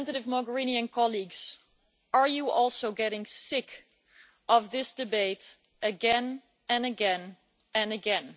Representative Mogherini and colleagues, are you not also getting sick of this debate again and again and again?